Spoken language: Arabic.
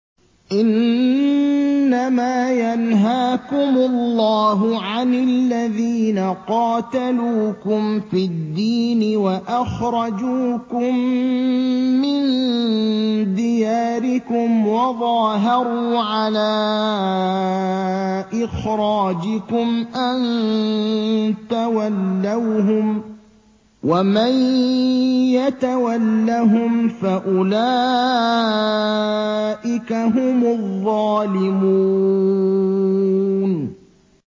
إِنَّمَا يَنْهَاكُمُ اللَّهُ عَنِ الَّذِينَ قَاتَلُوكُمْ فِي الدِّينِ وَأَخْرَجُوكُم مِّن دِيَارِكُمْ وَظَاهَرُوا عَلَىٰ إِخْرَاجِكُمْ أَن تَوَلَّوْهُمْ ۚ وَمَن يَتَوَلَّهُمْ فَأُولَٰئِكَ هُمُ الظَّالِمُونَ